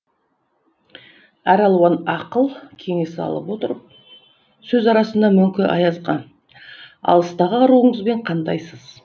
әр алуан ақыл кеңес алып отырып сөз арасында мөңке аязға алыстағы аруыңызбен қандайсыз